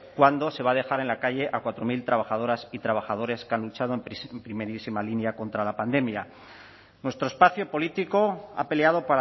cuando se va a dejar en la calle a cuatro mil trabajadoras y trabajadores que han luchado en primerísima línea contra la pandemia nuestro espacio político ha peleado